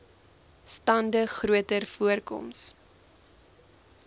stande groter voorkoms